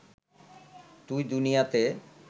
তুই দুনিয়াতে